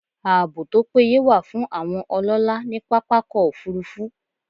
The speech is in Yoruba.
Ààbò tó péye wà fún àwọn ọlọ́lá ní pápákọ̀ -òfurufú